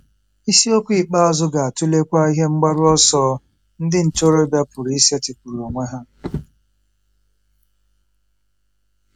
Isiokwu ikpeazụ ga-atụlekwa ihe mgbaru ọsọ ndị ntorobịa pụrụ isetịpụrụ onwe ha.